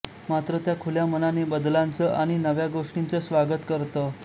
मात्र त्या खुल्या मनाने बदलांचं आणि नव्या गोष्टींचं स्वागत करत